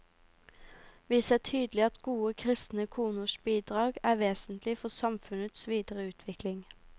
Vi ser tydelig at gode kristne koners bidrag er vesentlig for samfunnets videre utvikling.